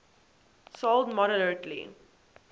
sold moderately